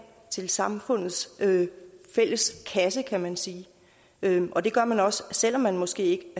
til samfundets fælles kasse kan man sige og det gør man også selv om man måske